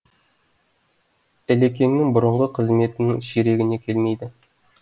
ілекеңнің бұрынғы қызметінің ширегіне келмейді